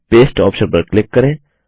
paste option पर click करें